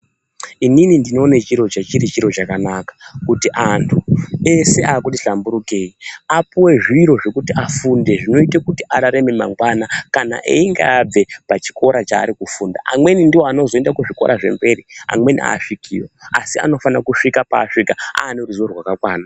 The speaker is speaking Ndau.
Ini ndinoone chechiro chiri chiro chakanaka kuti antu ese akuti hlamburukei apuwe zviro zvekuti afunde zvinoite kuti ararame mangwana kana einge abve pachikora chaari kufunda amweni ndoanozoenda kuzvikora zvemberi amweni aasvikiyo asi anofana kusvika paasvika aane ruziwo rwakakwana.